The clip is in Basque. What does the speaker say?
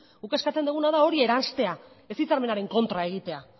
guk eskatzen duguna da hori erraztea ez hitzarmenaren kontra egitea